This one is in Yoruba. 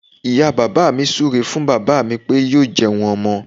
Ìyá bàbá mi súu ré fún bàbá mí pé yóò jẹun ọmọ.